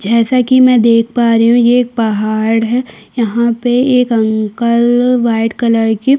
जैसा कि मैं देख पा रही हूँ ये एक पहाड़ है यहाँ पे एक अंकल व्हाइट कलर की --